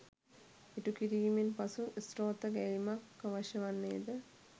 ඉටු කිරීමෙන් පසු ස්තෝත්‍ර ගැයීමක් අවශ්‍ය වන්නේද?